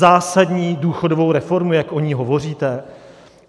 Zásadní důchodovou reformu, jak o ní hovoříte?